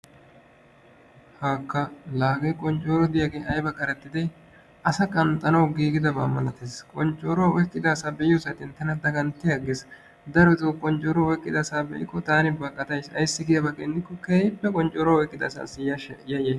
haakka taani ha asati cadiidi de'iyo koyro tokketidaagee de'iyo koyro go'iya gididi asaassi yayays.